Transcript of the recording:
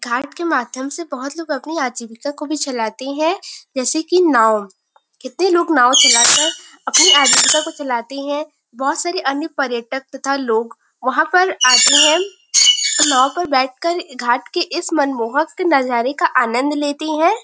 घाट के माध्यम से बहोत लोग अपनी आजीविका को भी चलाते है जैसे की नाव। कितने लोग नाव को चला अपने आजीविका को चलाते है। बहोत सारे अन्य पर्यटक तथा लोग वहाँ पर आते है और नाव पर बैठ कर घाट के इस मनमोहक नज़ारे का आनंद लेते है।